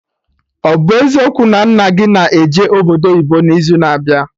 Ọ bụ eziokwu na nna gị na eje obodo oyibo n'izu na abịa?